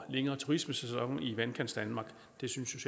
længere turismesæson i vandkantsdanmark det synes